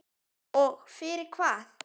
Og fyrir hvað?